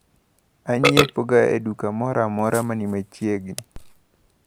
Anyiepoga e duka moramora mani machiegni.